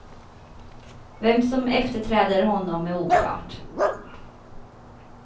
Vem som efterträder honom är oklart.